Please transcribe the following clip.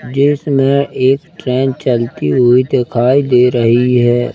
दृश्य में एक ट्रेन चलती हुई दिखाई दे रही है।